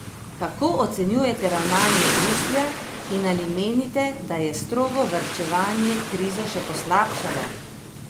Kako ocenjujete ravnanje Bruslja in ali menite, da je strogo varčevanje krizo še poslabšalo?